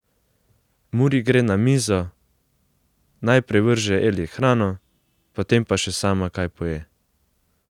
Muri gre na mizo, najprej vrže Eli hrano, potem pa še sama kaj poje.